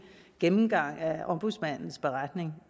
gennemgang af ombudsmandens beretning